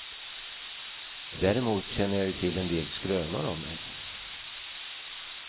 Däremot känner jag ju till en del skrönor om mig.